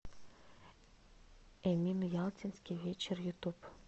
эмин ялтинский вечер ютуб